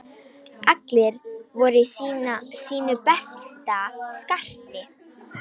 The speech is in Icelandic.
Allir voru í sínu besta skarti.